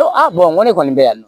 Ko a bɔn n ko ne kɔni bɛ yan